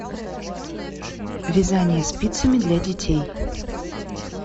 вязание спицами для детей